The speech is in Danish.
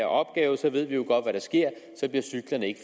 opgave så ved vi jo godt hvad der sker så bliver cyklerne ikke